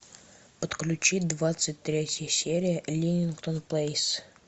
подключи двадцать третья серия риллингтон плейс